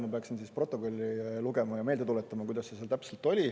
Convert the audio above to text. Ma peaksin siis protokolli lugema ja meelde tuletama, kuidas see seal täpselt oli.